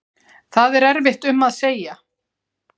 Það er erfitt um að segja